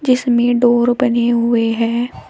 इसमें डोर बने हुए हैं।